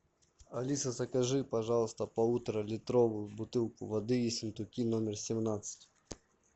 алиса закажи пожалуйста полуторалитровую бутылку воды ессентуки номер семнадцать